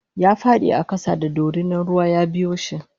yafadi a kasa da dorinan ruwa yabiyoshi